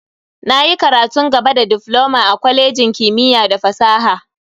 Na yi karatun gaba da difloma a kwalejin kimiyya da fasaha.